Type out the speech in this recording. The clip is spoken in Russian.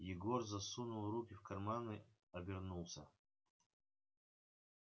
егор засунул руки в карманы обернулся